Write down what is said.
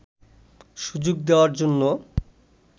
সুযোগ দেওয়ার জন্য